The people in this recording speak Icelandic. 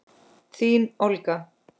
Þín Olga.